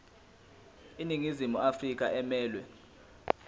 iningizimu afrika emelwe